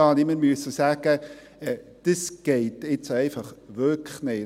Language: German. Ich muss sagen, dass dies wirklich nicht geht.